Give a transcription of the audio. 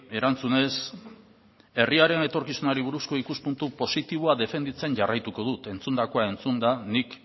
erantzunez herriaren etorkizunari buruzko ikuspuntu positiboa defenditzen jarraituko dut entzundakoa entzunda nik